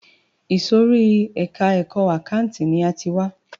Ìsòrí ẹka ẹ̀kọ́ àkáǹtì ni a ti wá.